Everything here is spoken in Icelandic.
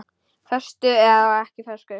Föstu og ekki föstu.